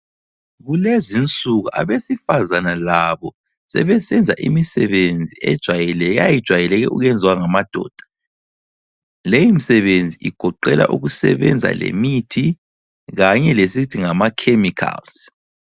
Kulezinsuku abesifazana labo sebesenza imisebenzi ejwayekileyo eyayijwayele ukwenziwa ngamadoda. Leyimisebenzi igoqela ukusebenza lemithi kanye lesithi ngama chemicals.